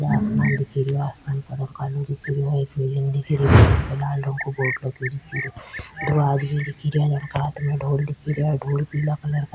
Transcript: आसमान दिख रहियो आसमान का रंग कालो दिख रियो एक बिलडिंग दिख रि बिल्डिंग प लाल रंग का बोर्ड लगो दिख रियो दो आदमी दिख रिया इनका हाथ में डोल दिख रिया ढोल पिला कलर का --